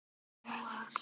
Í sumar.